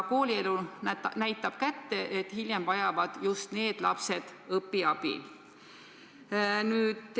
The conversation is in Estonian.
Koolielu on näidanud, et hiljem vajavad just need lapsed õpiabi.